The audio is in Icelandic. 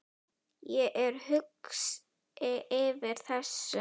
Ég er hugsi yfir þessu.